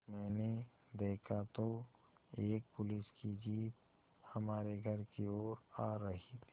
मैंने देखा तो एक पुलिस की जीप हमारे घर की ओर आ रही थी